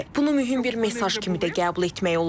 Bunu mühüm bir mesaj kimi də qəbul etmək olar.